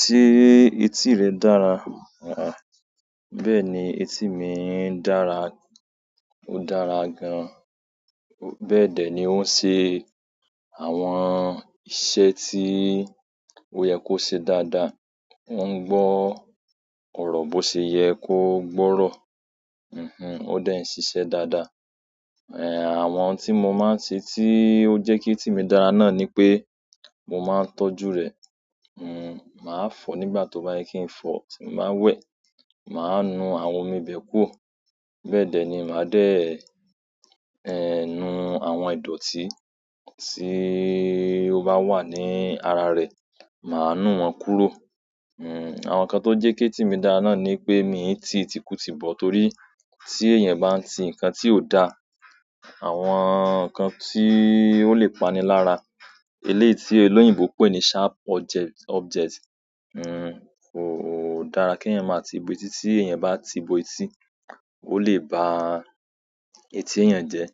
Ṣé etí rẹ dára? Àh, bẹ́ẹ̀ni etí mi ń dára, ó dára gan. Bẹ́ẹ̀dẹ̀ ni ó ń se àwọn iṣẹ́ tí ó yẹ kó ṣe dáadáa. Ó ń gbọ́, kò rọ̀ bó ṣe yẹ kó gbọ́rọ̀. Hunhun ó dẹ síṣẹ́ dáadáa. Ẹ̀h, àwọn tí mo máa ń ṣe tí ó jẹ́ kí etí mi dára náà ni pé mo máa ń tọ́jú rẹ̀. Hun màá fọ̀ nígbà tó bá yẹ kí n fọ̀, tí n ba wẹ̀, màá nu àwọn omi bẹ̀ kúrò. Bẹ́ẹ̀ dẹ̀ ni màá dé ẹ nu àwọn ìdọ̀tí tí ó bá wà ní ara rẹ̀, màá nu wọ́n kúrò. Hun àwọn nǹkan tó jẹ́ kí etí mi dára náà ni pé mi ń tí iti kùti bọ̀ torí tí èèyàn bá ń ti nǹkan tí ò dá, àwọn nǹkan tí ó lè pani lára, eléyìí tí olóyìnbo pè ní sharp objects. Object, hun kò dára kí èèyàn máa ti bọ etí, tí èèyàn bá ti bọ etí, ó lè ba etí èèyàn jẹ́.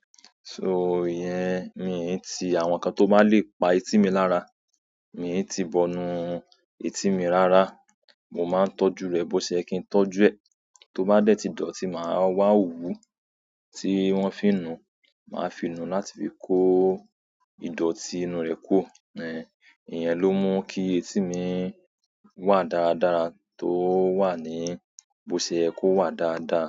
So ìyẹn mi ń tí àwọn nǹkan tó bá lè pa etí mi lára, mi ń tí bọ inú etí mi rárá. Mo máa ń tọ́jú rẹ̀ bó ṣe yẹ kí n tọ́jú ẹ. Tó bá dẹ̀ tí dọ̀tí, màá wá òwú tí wọ́n fi nu, màá fi nu láti fi kó ìdọ̀tí inú rẹ̀ kúrò. Ẹ̀h, ìyẹn ló mú kí etí mi wà dáradára tó wà ní bó ṣe yẹ kó wà dáadáa.